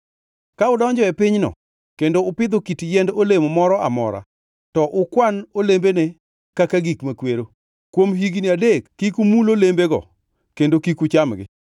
“ ‘Ka udonjo e pinyno kendo upidho kit yiend olemo moro amora to ukwan olembene ka gik makwero. Kuom higni adek kik umul olembego kendo kik uchamgi.